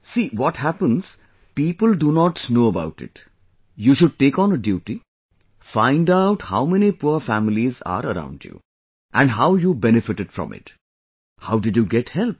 See what happens people do not know about it, you should take on a duty, find out how many poor families are around you, and how you benefited from it, how did you get help